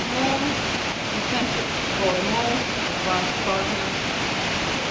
More incentives for the most advanced partners